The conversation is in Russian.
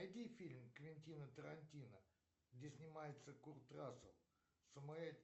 найди фильм квентина тарантино где снимается курт рассел